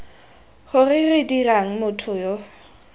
gore re dirang motho yo